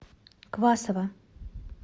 квасова